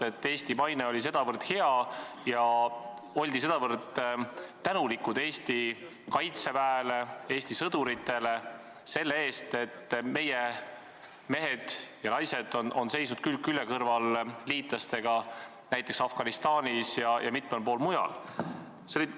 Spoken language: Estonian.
Eesti maine oli nii hea ja oldi tänulikud Eesti kaitseväele, Eesti sõduritele selle eest, et meie mehed ja naised on seisnud külg külje kõrval liitlastega Afganistanis ja mitmel pool mujal.